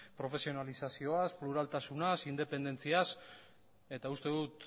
profesionalizazioaz pluraltasunaz independentziaz eta uste dut